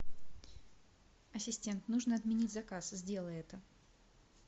ассистент нужно отменить заказ сделай это